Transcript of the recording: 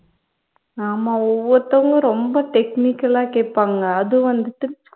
ஆமா ஒவ்வொருத்தவங்களும் ரொம்ப technical ஆ கேப்பாங்க அதுவும் வந்துட்டு